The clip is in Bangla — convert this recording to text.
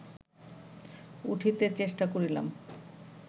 উঠিতে চেষ্টা করিলাম